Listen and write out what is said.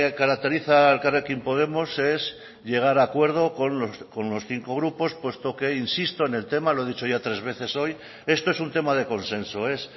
caracteriza a elkarrekin podemos es llegar a acuerdo con los cinco grupos puesto que insisto en el tema lo he dicho ya tres veces hoy esto es un tema de consenso es